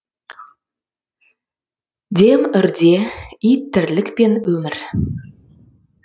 дем үрде ит тірлік пен өмір